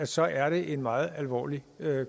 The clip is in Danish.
så er en meget alvorlig